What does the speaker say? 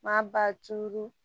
Maa ba tu tulu